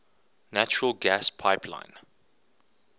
natural gas pipeline